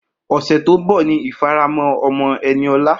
Ose to n bo ni ifaramo omo Eniola.